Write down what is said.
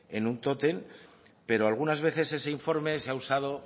en un tótem pero algunas veces ese informe se ha usado